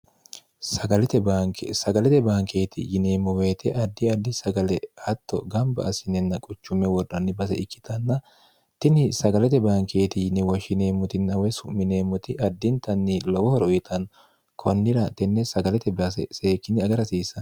sagalete bankeeti yineemmo weyite addi addi sagale hatto gamba assinenna quchumme wodhanni base ikkitanna tini sagalete bankeeti yinewoshshineemmoti nawe su'mineemmoti addintanni lowo horo ixan konnira tenne sagalete base seekkinni agarhasiissann